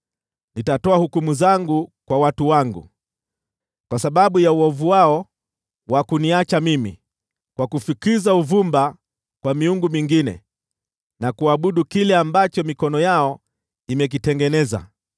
Nitatoa hukumu zangu kwa watu wangu kwa sababu ya uovu wao wa kuniacha mimi, kwa kufukiza uvumba kwa miungu mingine na kuabudu kile ambacho mikono yao imekitengeneza.